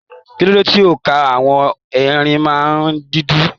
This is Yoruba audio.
Kilode tí óńka àwọn erin náà n dínkù?